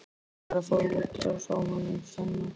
Ég var að fá útrás á honum Svenna.